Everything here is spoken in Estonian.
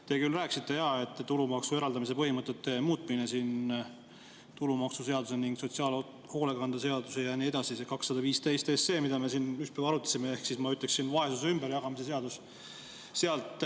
Te küll rääkisite, et tulumaksu eraldamise põhimõtted muutuvad tulumaksuseaduse ning sotsiaalhoolekande seaduse ja nii edasi kohaselt, see 215 SE, mida me siin ükspäev arutasime, ehk siis ma ütleksin, vaesuse ümberjagamise seaduse kohaselt.